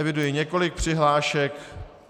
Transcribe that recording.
Eviduji několik přihlášek.